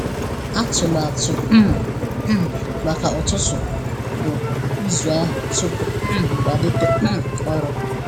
Atụmatụ um m maka ụtụtụ bụ ịzụ ahụ tupu m um malite um ọrụ.